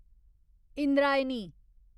Indrayani